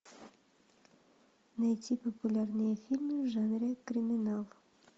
найти популярные фильмы в жанре криминал